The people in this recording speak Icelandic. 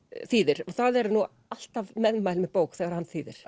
þýðir það eru nú alltaf meðmæli með bók þegar hann þýðir